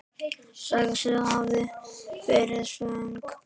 Sagðist hafa verið svöng.